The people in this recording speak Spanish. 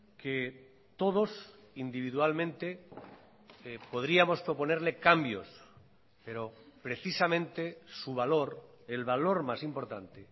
que todos individualmente podríamos proponerle cambios pero precisamente su valor el valor más importante